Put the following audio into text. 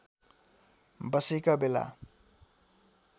बसेका बेला